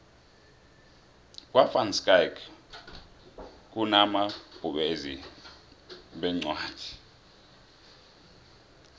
kwa van schaick kunabovezi beencwadi